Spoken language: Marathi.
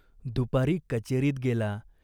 दुपारी कचेरीत गेला.